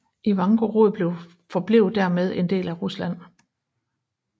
Ivangorod forblev dermed en del af Rusland